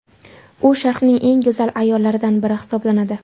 U Sharqning eng go‘zal ayollaridan biri hisoblanadi.